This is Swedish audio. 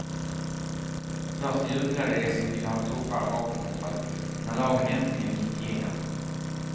Först jublade de som vill ha tuffare vapenkontroll när lagen äntligen gick igenom.